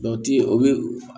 o bɛ